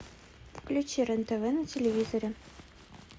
включи рен тв на телевизоре